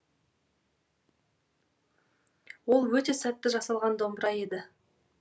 ол өте сәтті жасалған домбыра еді